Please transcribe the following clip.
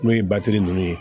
N'o ye nunnu ye